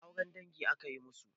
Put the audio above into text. Eh auren dangi aka yi musu.